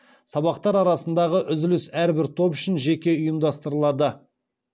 сабақтар арасындағы үзіліс әрбір топ үшін жеке ұйымдастырылады